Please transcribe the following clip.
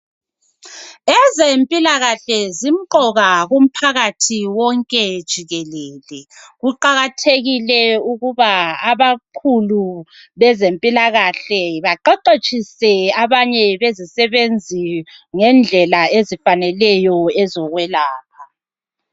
Ezempilakahle zimqoka kumphakathi wonke jikelele. Kuqakathekile ukuba abakhulu bezempilakahle baqeqetshise abanye bezisebenzi ngendlela ezifaneleyo ezokwelapha.